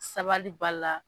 Sabali b'a la.